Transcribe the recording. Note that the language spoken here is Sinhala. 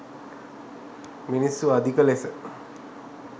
මිනිස්සු අධික ලෙස